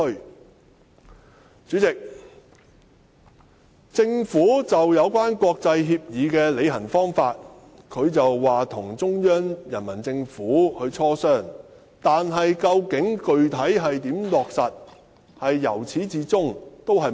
"代理主席，關於國際協議的履行方法，政府表示會與中央政府進行磋商，但至於如何具體落實，卻由此至終沒有提及。